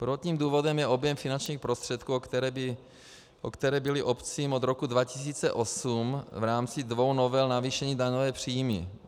Prvotním důvodem je objem finančních prostředků, o které byly obcím od roku 2008 v rámci dvou novel navýšeny daňové příjmy.